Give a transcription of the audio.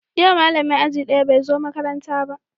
Yau malamin aji daya bai zo makaranta ba